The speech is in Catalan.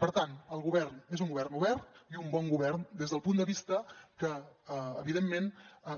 per tant el govern és un govern obert i un bon govern des del punt de vista que evidentment